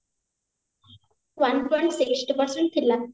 one point seventy percent ଥିଲା